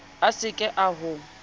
a se ke a ho